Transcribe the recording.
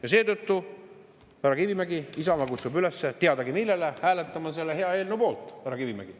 Ja seetõttu, härra Kivimägi, Isamaa kutsub üles teadagi millele – hääletama selle hea eelnõu poolt, härra Kivimägi.